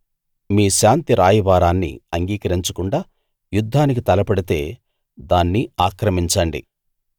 మీ శాంతి రాయబారాన్ని అంగీకరించకుండా యుద్ధానికి తలపడితే దాన్ని ఆక్రమించండి